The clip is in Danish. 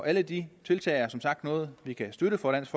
alle de tiltag er som sagt noget vi kan støtte fra dansk